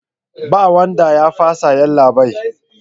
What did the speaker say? Babu wanda ya fasa yallabai